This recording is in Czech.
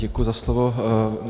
Děkuji za slovo.